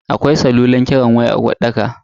Akwai salulan kiran waya a uwarɗakar.